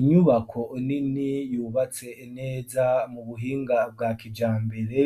Inyubako nini yubatse neza mu buhinga bwa kijambere